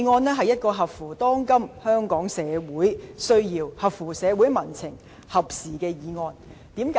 這是一項合乎當今香港社會需要、合乎社會民情和合時的議案。